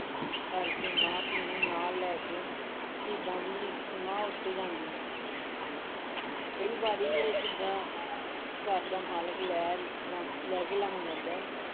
ਭਰ ਕੇ ਮਾਂ ਧੀ ਨੂੰ ਨਾਲ ਲੈ ਕੇ ਸ਼ਹੀਦਾਂ ਦੀ ਸਮਾਧ ਉੱਤੇ ਜਾਂਦੀ ਕਈ ਵਾਰੀ ਇਹ ਚੀਜ਼ਾਂ ਘਰ ਦਾ ਮਾਲਕ ਲੈ ਜਾਂ~ ਲੈ ਕੇ ਲੰਘ ਜਾਂਦਾ।